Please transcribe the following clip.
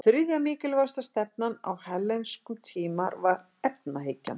Þriðja mikilvægasta stefnan á hellenískum tíma var efahyggjan.